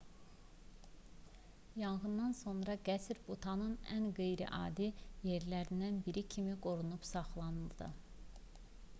yanğından sonra qəsr butanın ən qeyri-adi yerlərindən biri kimi qorunub saxlandı